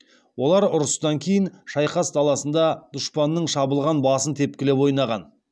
олар ұрыстан кейін шайқас даласында дұшпанның шабылған басын тепкілеп ойнаған